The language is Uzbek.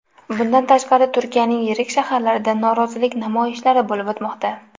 Bundan tashqari, Turkiyaning yirik shaharlarida norozilik namoyishlari bo‘lib o‘tmoqda .